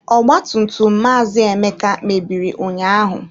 Ọgba tum tum Maazị Emeka mebiri ụnyaahụ.